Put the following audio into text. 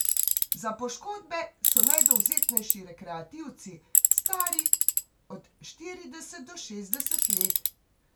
Za poškodbe so najdovzetnejši rekreativci, stari od štirideset do šestdeset let.